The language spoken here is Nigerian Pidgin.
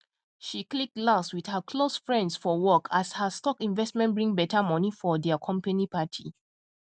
she click glass with her close friends for work as her stock investment bring better money for there company party